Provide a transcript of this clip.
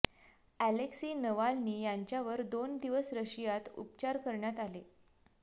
Alexei Navalny यांच्यावर दोन दिवस रशियात उपचार करण्यात आले